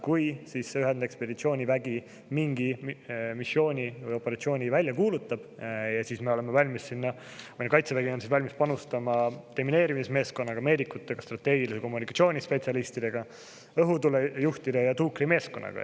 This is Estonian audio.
Kui ühendekspeditsioonivägi mingi missiooni või operatsiooni välja kuulutab, siis meie kaitsevägi on valmis panustama demineerimismeeskonnaga, meedikutega, strateegilise kommunikatsiooni spetsialistidega, õhutulejuhtide ja tuukrimeeskonnaga.